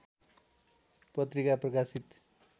पत्रिका प्रकाशित